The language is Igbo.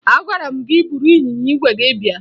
Agwara m gị buru ịnyịnya ígwè gị bịa!